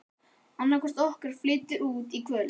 Annaðhvort okkar flytur út í kvöld.